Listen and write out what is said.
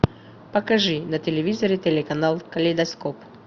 покажи на телевизоре телеканал калейдоскоп